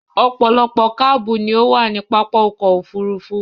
Ọ̀pọ̀lọpọ̀ káabù ni ó máa ń wà ní pápá ọkò-òfurufú.